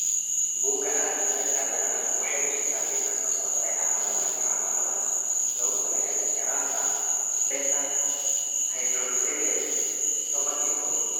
Bugga aragtiyaha aanadanaha waxay bixisaa liiska soo socda ee calaamadaha iyo calaamadaha loogu talagalay yaraanta beta hydroxylase toban iyo kow.